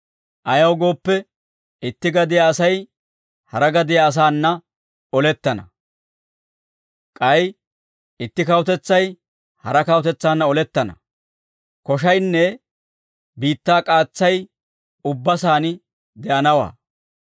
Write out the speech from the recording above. Ayaw gooppe, itti gadiyaa Asay hara gadiyaa asaana olettana; k'ay itti kawutetsay hara kawutetsaanna olettana; koshaynne biittaa k'aatsay ubba saan de'anawaa.